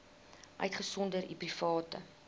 uitgesonderd u private